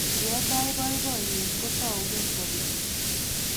Ye tai boiboiyet, ko taukei sopet